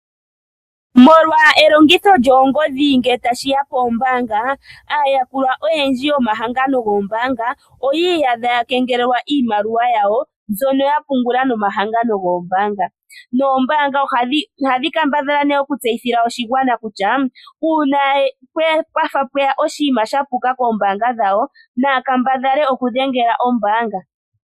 Molwa elongitho lyoongodhi ngele tashi ya poombaanga, aayakulwa oyendji yomahangano goombanga oyi iyadha ya kengelelwa iimaliwa yawo mbyono ya pungula nomahangano goombaanga. Noombaanga ohadhi kambadhala nee oku tseyithila oshigwana kutya uuna pwafa pweya oshinima shapuka koombanga dhawo naya kambadhale okudhengela ombaanga.